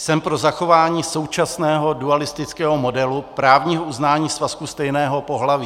Jsem pro zachování současného dualistického modelu právního uznání svazku stejného pohlaví.